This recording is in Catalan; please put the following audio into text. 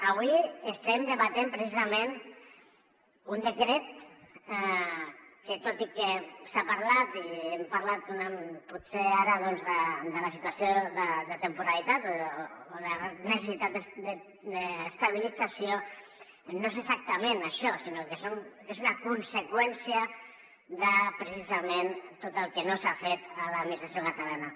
avui estem debatent precisament un decret que tot i que s’ha parlat i hem parlat potser ara doncs de la situació de temporalitat o de la necessitat d’estabilització no és exactament això sinó que és una conseqüència de precisament tot el que no s’ha fet a l’administració catalana